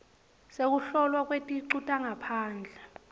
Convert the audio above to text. sekuhlolwa kweticu tangaphandle